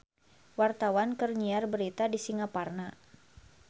Wartawan keur nyiar berita di Singaparna